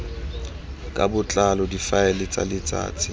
ka botlalo difaele tsa letsatsi